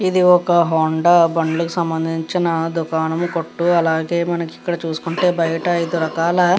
ఇది హోండా బండిలు కి సంభందించిన దూకనము కొట్టు అలాగే మనకి ఇక్కడ చూసుకుంటే బయట ఐదు రకాల --